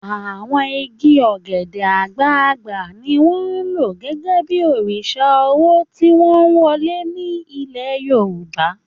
Àwọn igi ogede-agbàgbà ni wọ́n ń lò gẹ́gẹ́ bí orísun owó tí wọ́n ń wọlé ní ilẹ̀ Yorùbá